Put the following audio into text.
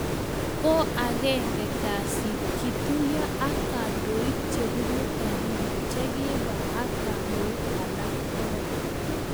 Ko agenge kasit, kituyo ak kandoik che bunu Baringo che kibwa ak kandoik alak pokol